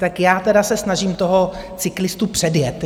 Tak já teda se snažím toho cyklistu předjet.